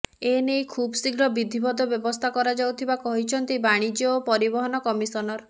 ଏନେଇ ଖୁବଶୀଘ୍ର ବିଦ୍ଧିବଦ୍ଧ ବ୍ୟବସ୍ଥା କରାଯାଉଥିବା କହିଛନ୍ତି ବାଣିଜ୍ୟ ଓ ପରିବହନ କମିଶନର